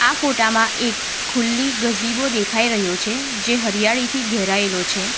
ફોટા માં એક ખુલ્લી ગઝીબો દેખાઈ રહ્યો છે જે હરિયાળીથી ઘેરાયેલો છે.